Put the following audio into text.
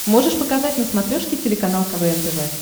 можешь показать на смотрешке телеканал квн тв